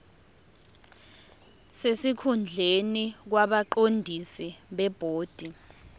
sesikhundleni kwabaqondisi bebhodi